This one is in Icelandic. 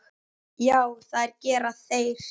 Já, það gera þeir.